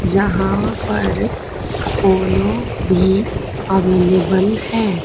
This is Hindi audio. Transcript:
जहां पर अपोलो भी अवेलेबल है।